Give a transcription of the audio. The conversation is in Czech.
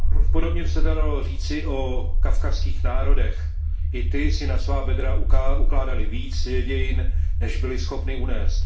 Podobně by se to dalo říci o kavkazských národech, i ty si na svá bedra ukládaly více dějin, než byly schopny unést.